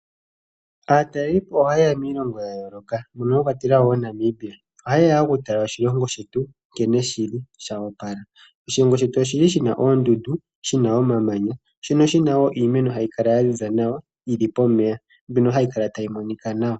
Aatalelipo ohayeya miilongo ya yooloka, mono mwa kwatelwa wo Namibia. Ohayeya okutala oshilongo shetu nkene shili, sho opala. Oshilongo shetu oshli shina oondundu, omamanya, noshowo iimeno mbyono hayi kala yaziza nawa, yili pomeya, hayi kala tayi monika nawa.